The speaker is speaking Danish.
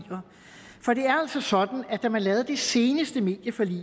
for sådan at da man lavede det seneste medieforlig